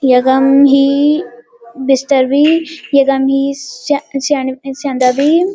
यकम ही बिस्तर भी यकम ही स्या स्यां स्यांदा भी।